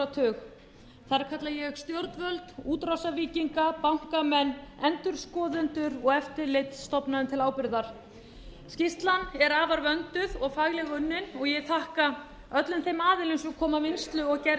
þar kalla ég stjórnvöld útrásarvíkinga bankamenn endurskoðendur og eftirlitsstofnanir til ábyrgðar skýrslan er afar vönduð og faglega unnin og ég þakka öllum þeim aðilum sem komu að vinnslu og gerð